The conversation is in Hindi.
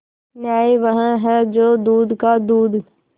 न्याय वह है जो दूध का दूध